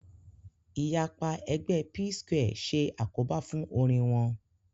Ìyapa ẹgbẹ́ Psquare ṣe àkóbá fún orin wọn